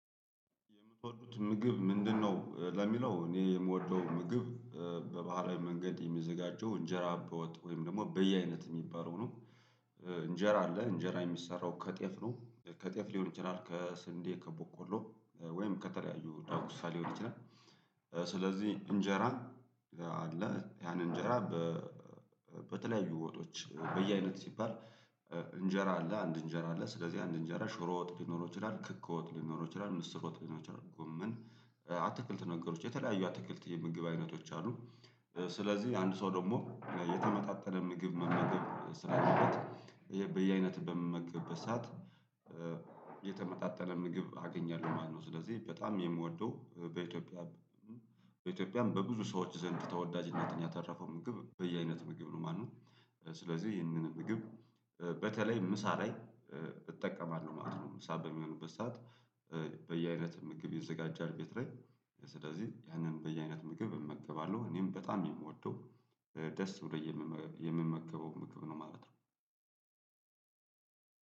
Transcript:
የምትወዱት ምግብ ምንድነው? ለሚለው እኔ የምወደው ምግብ በባህላዊ መንገድ የሚዘጋጀው እንጀራ በወጥ ወይም ደግሞ በየአይነት የሚባለው ነው። እንጀራ አለ እንጀራ የሚሰራው ከጤፍ ነው ከጤፍ ሊሆን ይችላል ከስንዴ፣ ከበቆሎ ወይም ከተለያዩ ዳጉሳ ሊሆን ይችላል ስለዚህ እንጀራ አለ ያን እንጀራ በተለያዩ ወጦች በየአይነት ሲባል እንጀራ አለ አንድ እንጀራ አለ ስለዚህ አንድ እንጀራ ሽሮ ወጥ ሊኖር ይችላል ክክ ወጥ ሊኖር ይችላል ምስር ወጥ ሊኖር ይችላል ጎመን አትክልት ነገሮች የተለያዩ አትክልት የምግብ አይነቶች አሉ ስለዚህ አንድ ሰው ደግሞ የተመጣጠነ ምግብ መመገብ ስላለበት ይሄ በየአይነት በምመገብበት ሰዓት የተመጣጠነ ምግብ አገኛለሁ ማለት ነው ስለዚህ በጣም የምወደው በኢትዮጵያ በኢትዮጵያም በብዙ ሰዎች ዘንድ ተወዳጅነትን ያተረፈው ምግብ በየአይነት ምግብ ነው ማነው ስለዚህ ይህንን ምግብ በተለይ ምሳ ላይ እጠቀማለሁ ማለት ነው ምሳ በሚሆንበት ሰዓት በየአይነት ምግብ ይዘጋጃል ቤት ላይ ስለዚህ ያንን በየአይነት ምግብ እመገባለሁ እኔም በጣም የምወደው ደስ ብሎኝ የምመገበው ምግብ ነው ማለት ነው